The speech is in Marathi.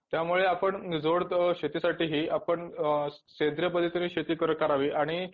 त्यामुळे आपण शेतीसाठी ही आपण शेती करावी आणि